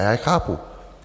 A já je chápu.